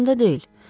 Yadımda deyil.